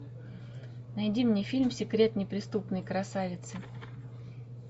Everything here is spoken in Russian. найди мне фильм секрет неприступной красавицы